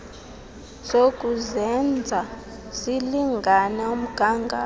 zokuzenza zilingane umgatho